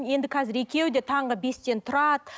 енді қазір екеуі де таңғы бестен тұрады